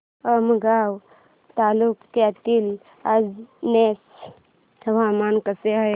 आमगाव तालुक्यातील अंजोर्याचे हवामान कसे आहे